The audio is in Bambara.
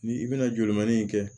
Ni i bɛna joli manin in kɛ